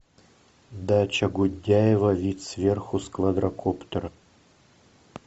дача гундяева вид сверху с квадрокоптера